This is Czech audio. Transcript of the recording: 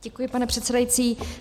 Děkuji, pane předsedající.